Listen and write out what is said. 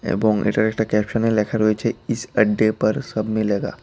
এবং এটার একটা ক্যাপশনে লেখা রয়েছে ইস আড্ডে পর সব মিলেগা।